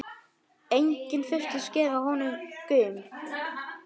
Enginn virtist gefa honum gaum.